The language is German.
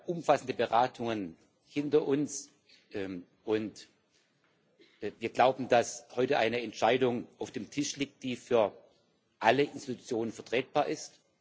Wir haben ja umfassende Beratungen hinter uns, und wir glauben, dass heute eine Entscheidung auf dem Tisch liegt, die für alle Organe vertretbar ist.